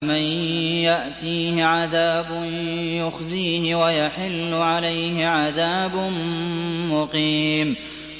مَن يَأْتِيهِ عَذَابٌ يُخْزِيهِ وَيَحِلُّ عَلَيْهِ عَذَابٌ مُّقِيمٌ